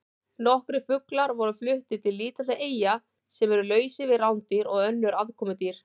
Nokkrir fuglar voru fluttir til lítilla eyja sem eru lausar við rándýr og önnur aðkomudýr.